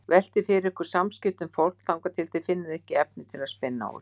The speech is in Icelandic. Veltið fyrir ykkur samskiptum fólks þangað til þið finnið efni til að spinna úr.